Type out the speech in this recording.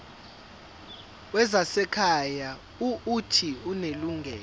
wezasekhaya uuthi unelungelo